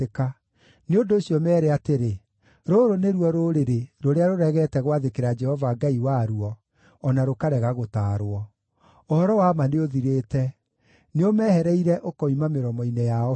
Nĩ ũndũ ũcio, meere atĩrĩ, ‘Rũrũ nĩruo rũrĩrĩ rũrĩa rũregete gwathĩkĩra Jehova Ngai waruo, o na rũkarega gũtaarwo. Ũhoro-wa-ma nĩũthirĩte; nĩũmehereire ũkoima mĩromo-inĩ yao biũ.